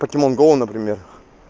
покемон гоу например